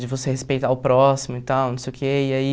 De você respeitar o próximo e tal, não sei o que, e aí...